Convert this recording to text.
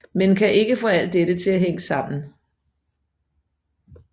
Men kan ikke få alt dette til at hænge sammen